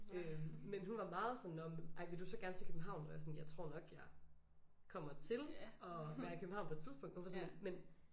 Øh men hun var meget sådan nå ej men vil du så gerne til København? Og jeg sådan jeg tror nok jeg kommer til at være i København på et tidspunkt og hun var sådan lidt men